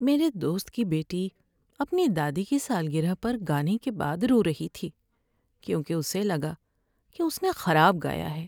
میرے دوست کی بیٹی اپنی دادی کی سالگرہ پر گانے کے بعد رو رہی تھی کیونکہ اسے لگا کہ اس نے خراب گایا ہے۔